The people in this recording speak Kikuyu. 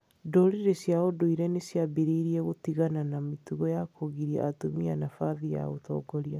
Ndũrĩrĩ cia ũndũire nĩ ciambĩrĩirie gũtigana na mĩtugo ya kũgiria atumia nabathi ya ũtongoria.